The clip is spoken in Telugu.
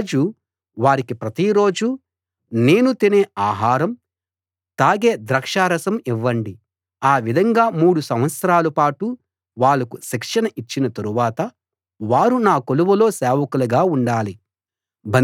రాజు వారికి ప్రతి రోజూ నేను తినే ఆహారం తాగే ద్రాక్షారసం ఇవ్వండి ఆ విధంగా మూడు సంవత్సరాలపాటు వాళ్ళకు శిక్షణ ఇచ్చిన తరువాత వారు నా కొలువులో సేవకులుగా ఉండాలి